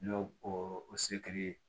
N'o o seki ye